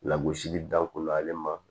Lagosili danko la ale ma